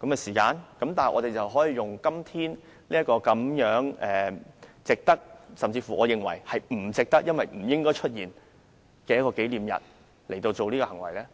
右的時間，但議員卻可以藉此在今天這個值得——我其實認為不值得，因為不應出現這樣的一個紀念日——的日子表態。